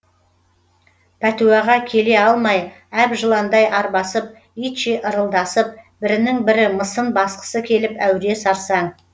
пәтуаға келе алмай әбжыландай арбасып итше ырылдасып бірінің бірі мысын басқысы келіп әуре сарсаң